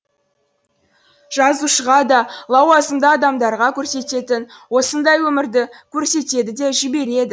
жазушыға да лауазымды адамдарға көрсететін осындай өмірді көрсетеді де жібереді